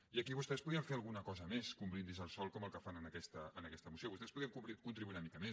i aquí vostès podrien fer alguna cosa més que un brindis al sol com el que fan en aquesta moció vostès podrien contribuir hi una mica més